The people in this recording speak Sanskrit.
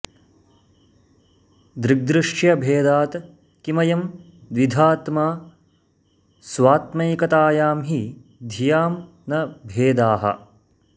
दृग्दृश्यभेदात् किमयं द्विधात्मा स्वात्मैकतायां हि धियां न भेदाः